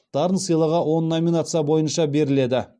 дарын сыйлығы он номинация бойынша беріледі